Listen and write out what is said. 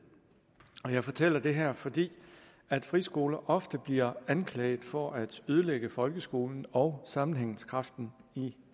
jeg fortæller det her fordi friskoler ofte bliver anklaget for at ødelægge folkeskolen og sammenhængskraften i